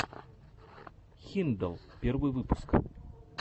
хиндалл первый выпуск